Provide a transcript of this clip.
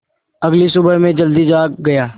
अगली सुबह मैं जल्दी जाग गया